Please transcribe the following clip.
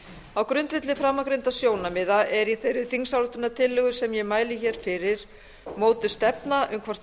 á grundvelli framangreindra sjónarmiða er í þeirri þingsályktunartillögu sem ég mæli fyrir mótuð stefna um hvort